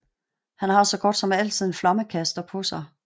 Han har så godt som altid en flammekaster på sig